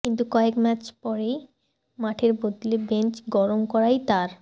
কিন্তু কয়েক ম্যাচ পরেই মাঠের বদলে বেঞ্চ গরম করাই তার